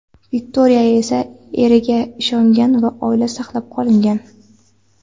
Viktoriya esa eriga ishongan va oila saqlab qolingan.